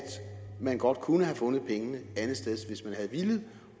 man godt kunne have fundet pengene andetsteds hvis man havde villet